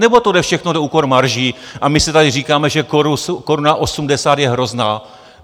Nebo to jde všechno na úkor marží a my si tady říkáme, že koruna osmdesát je hrozná?